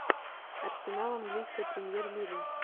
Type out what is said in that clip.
арсенал английская премьер лига